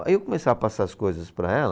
Aí eu começava a passar as coisas para ela,